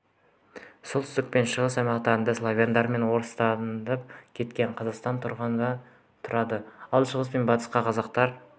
солтүстік пен шығыс аймақтарда славяндар мен орыстанып кеткен қазақтар тұрады ал шығыс пен батыста қазақтар